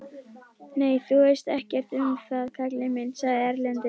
Nei, þú veist ekkert um það kallinn minn, sagði Erlendur.